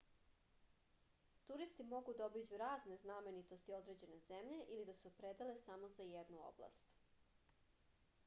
turisti mogu da obiđu razne znamenitosti određene zemlje ili da se opredele samo za jednu oblast